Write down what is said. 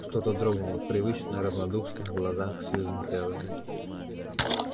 что-то дрогнуло в привычно равнодушных глазах сьюзен кэлвин